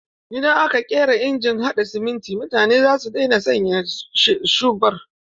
Idan aka ƙera injin haɗa siminti mutane za su daina sayan shubur.